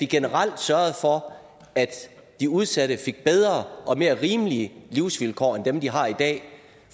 generelt sørge for at de udsatte fik bedre og mere rimelige livsvilkår end dem de har i dag